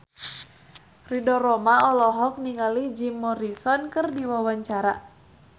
Ridho Roma olohok ningali Jim Morrison keur diwawancara